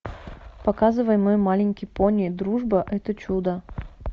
показывай мой маленький пони дружба это чудо